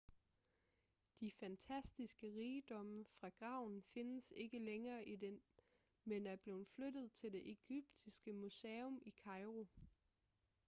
de fantastiske rigdomme fra graven findes ikke længere i den men er blevet flyttet til det egyptiske museum i kairo